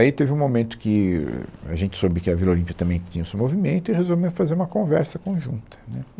Aí teve um momento que ahn, a gente soube que a Vila Olímpia também tinha o seu movimento e resolvemos fazer uma conversa conjunta, né